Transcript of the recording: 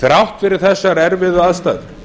þrátt fyrir þessar erfiðu aðstæður